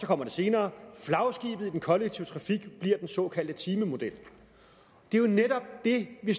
kommer det senere flagskibet i den kollektive trafik bliver den såkaldte timemodel det er jo netop det vi